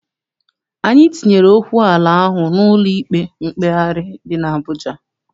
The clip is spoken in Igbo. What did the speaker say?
Anyị tinyere okwu ala ahụ n'ụlọ ikpe mkpegharị dị n'Abụja.